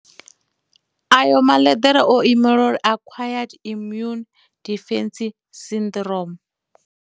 Ayo maḽeḓere o imela uri a Acquired Immune Deficiency Syndrome.